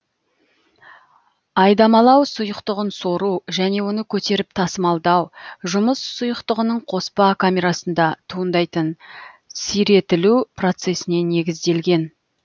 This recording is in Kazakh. айдамалау сұйықтығын сору және оны көтеріп тасымалдау жұмыс сұйықтығының қоспа камерасында туындайтын сиретілу процесіне негізделген